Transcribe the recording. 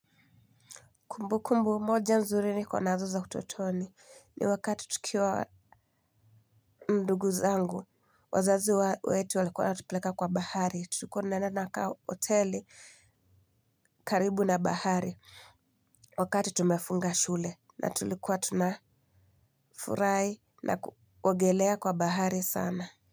Kumbukumbu moja nzuri niko nazo za utotoni ni wakati tukiwa ndugu zangu, wazazi wetu walikuwa wanatupeleka kwa bahari, tulikuwa tunaenda tunakaa hoteli karibu na bahari wakati tumefunga shule na tulikuwa tuna furahi na kuogelea kwa bahari sana.